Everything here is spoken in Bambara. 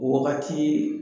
O wagati